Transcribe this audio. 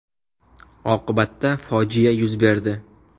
Oqibatda fojia yuz berdi.